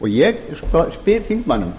ég spyr þingmanninn